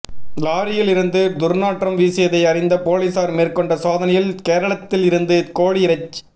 லாரியில் இருந்து துா்நாற்றம் வீசியதை அறிந்த போலீஸாா் மேற்கொண்ட சோதனையில் கேரளத்தில் இருந்து கோழி இறைச்